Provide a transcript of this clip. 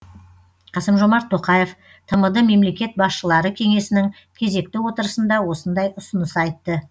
қасым жомарт тоқаев тмд мемлекет басшылары кеңесінің кезекті отырысында осындай ұсыныс айтты